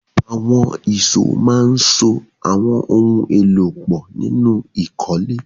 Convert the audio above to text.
Àwọn ìṣó máa ń so àwọn ohun èlò pọ̀ nínú ìkọ́lé